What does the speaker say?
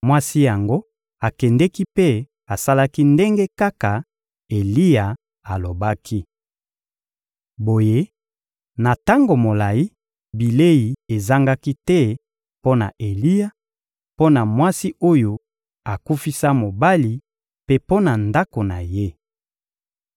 Mwasi yango akendeki mpe asalaki ndenge kaka Eliya alobaki. Boye, na tango molayi, bilei ezangaki te mpo na Eliya, mpo na mwasi oyo akufisa mobali mpe mpo na ndako na ye.